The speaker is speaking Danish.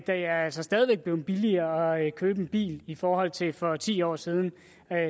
er altså stadig væk blevet billigere at købe en bil i forhold til for ti år siden